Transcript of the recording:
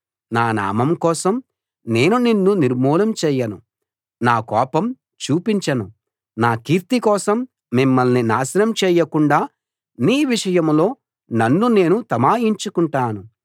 నా నామం కోసం నేను నిన్ను నిర్మూలం చేయను నా కోపం చూపించను నా కీర్తి కోసం మిమ్మల్ని నాశనం చేయకుండా నీ విషయంలో నన్ను నేను తమాయించుకుంటాను